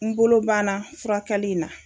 N bolo banna furakɛli n na.